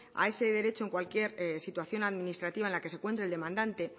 a ese derecho en cualquier situación administrativa en la que se encuentre el demandante